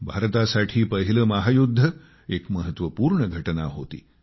भारतासाठी पहिले महायुद्ध एक महत्वपूर्ण घटना होती